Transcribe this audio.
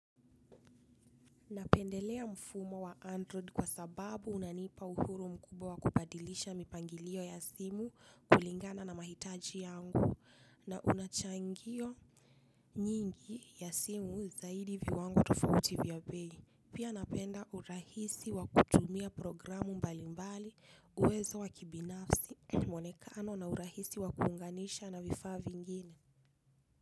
Napendelea mfumo wa android kwa sababu unanipa uhuru mkubwa wa kubadilisha mipangilio ya simu kulingana na mahitaji yangu na unachangio nyingi ya simu zaidi viwango tofauti vya bei. Pia napenda urahisi wa kutumia programu mbali mbali uwezo wa kibinafsi mwonekano na urahisi wa kuunganisha na vifaa vingine.